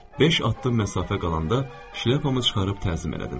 Beş addım məsafə qalanda şlyapamı çıxarıb təzim elədim.